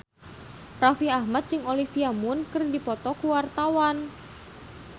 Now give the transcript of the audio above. Raffi Ahmad jeung Olivia Munn keur dipoto ku wartawan